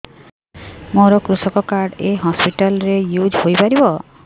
ମୋର କୃଷକ କାର୍ଡ ଏ ହସପିଟାଲ ରେ ୟୁଜ଼ ହୋଇପାରିବ